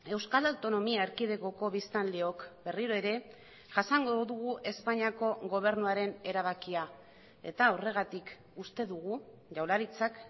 euskal autonomia erkidegoko biztanleok berriro ere jasango dugu espainiako gobernuaren erabakia eta horregatik uste dugu jaurlaritzak